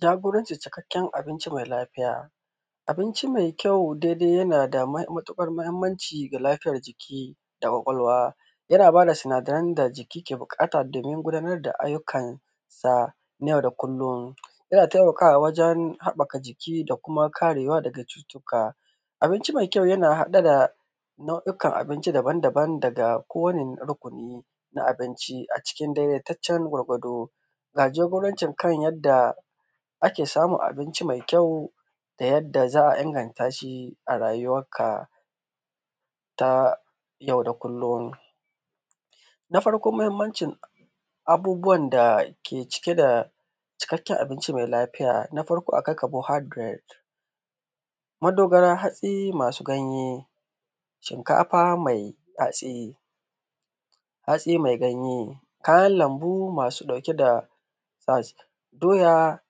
Jagorancin cikakken abinci mai lafiya. Abinci mai kyau daidai yana da mai matuƙar mahimmanci ga lafiyar jiki, da ƙwaƙwalwa. Yana ba da sinadaran da jiki ke buƙata domin gudanar da ayyukan gida na yau da kullum. Yana taimakawa wajen haɓaka jiki da kuma karewa daga cutuka. Abinci mai kyau yana haɗe da nau’ikan abinci daban-daban daga kowane rukuni na abinci a cikin daidaitaccen gwargwado. Ga jagorancin kan yadda ake samun abinci mai kyau da yadda za a inganta shi a rayuwarka ta yau da kullum: na farko, muhimmancin abubuwan da ke cike da cikakken abinci mai lafiya, na farko akwai carbohydrate, madogara hatsi masu ganye; shinkafa mai hatsi; hatsi mai ganye; kayan lambu masu ɗauke da, doya,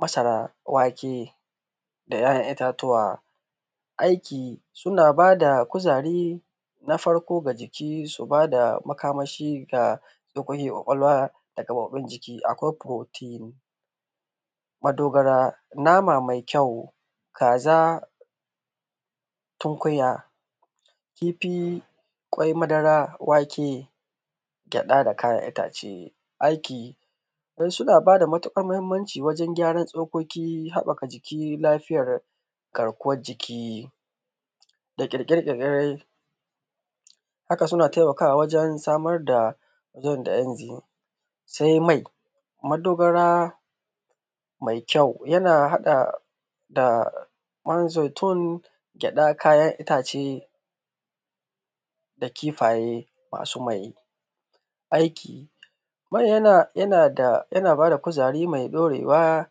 masara, wake da 'ya'yan itatuwa. Aiki suna ba da kuzari, na farko ga jiki su ba da makamashi ga goganyan ƙwaƙwalwa da gaɓoɓin jiki, akwai protein, madogara nama mai kyau, kaza, tunkunya, kifi, ƙwai, madara, wake gyaɗa da kayan itace, aiki, don suna ba da matuƙar muhimmanci wajen gyaran tsokoki, haɓaka jiki, lafiyar garkuwar jiki, da ƙirƙire- ƙirƙire. Haka suna taimakawa wajen samar da yanda in, sai mai. Madogara mai kyau yana haɗa da man zaitun, gyaɗa, kayan itace, da kifaye masu mai. Aiki. Mai yana, yana da, yana ba da kuzari mai ɗorewa,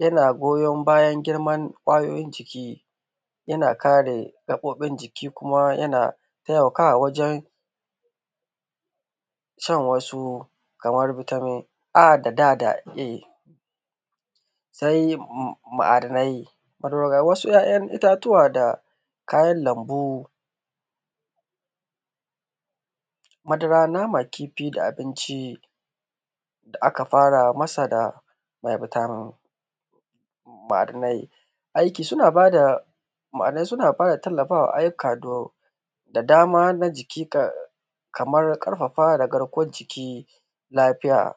yana goyon bayan girman ƙwayoyin jiki, yana kare gaɓoɓin jiki, kuma yana taimakawa wajen shan wasu kamar vitamin A da D da E. Sai ma'adanai. Madogara. Wasu 'ya'yan itatuwa da kayan lambu, madara, nama, kifi da abinci da aka fara masara Aiki. Suna ba da, ma'adanai suna ba da tallafa wa ayyuka da dama na jiki kamar ƙarfafa da garkuwar jiki lafiya.